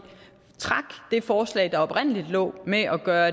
trak det forslag der oprindelig lå med at gøre